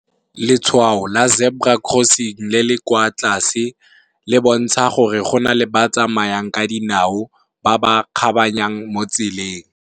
Letshwao la Zebra Crossing le le kwa tlase, le bontsha gore go na le ba tsamayang ka dinao ba ba kgabaganyang mo tseleng.